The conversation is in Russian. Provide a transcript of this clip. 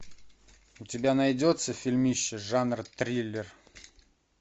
у тебя найдется фильмище жанр триллер